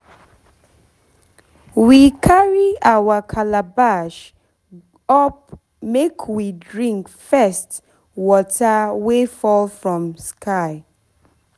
we carry our calabash up make we drink first water wey fall from sky